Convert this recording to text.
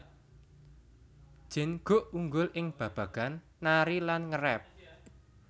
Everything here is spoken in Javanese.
Jin Guk unggul ing babagan nari lan nge rap